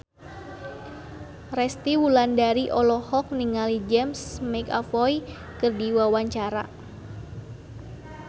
Resty Wulandari olohok ningali James McAvoy keur diwawancara